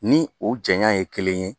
Ni o janya ye kelen ye